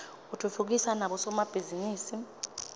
utfutfukisa nabo somabhizinisi